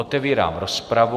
Otevírám rozpravu.